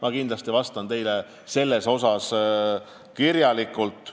Ma kindlasti vastan teile selle kohta kirjalikult.